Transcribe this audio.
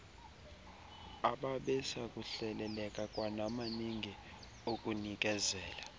ababesakuhleleleka kwanamalinge okunikezela